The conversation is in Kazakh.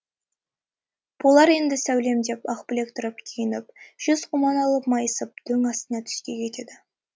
болар енді сәулем деп ақбілек тұрып киініп жез құман алып майысып дөң астына түзге кетеді